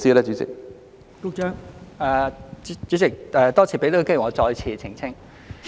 代理主席，多謝讓我有機會再次澄清。